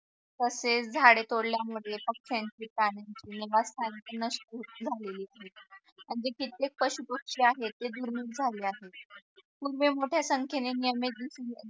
तसेच झाडे तोडल्यामुळे नष्ट झालेली म्हणजे कित्येक कशी आहे ते दुर्मिळ झालेली आहे मोठ्या संख्येने